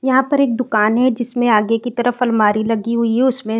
यहाँ पर एक दुकान है जिसमें आगे की तरफ अलमारी लगी हुई है उसमें --